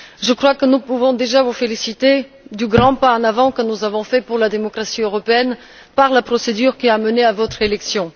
Je crois que nous pouvons déjà vous féliciter du grand pas en avant que nous avons fait pour la démocratie européenne avec la procédure qui a mené à votre élection.